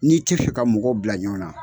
N'i te fɛ ka mɔgɔw bila ɲɔan na